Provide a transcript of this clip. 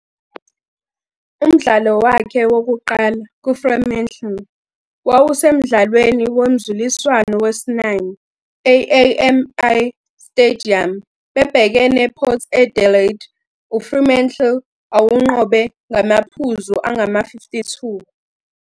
Umdlalo wakhe wokuqala kuFremantle wawusemdlalweni womzuliswano wesi- 9 e-AAMI Stadium bebhekene Port Adelaide, uFremantle awunqobe ngamaphuzu angama-52.